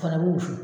Fana bɛ wusu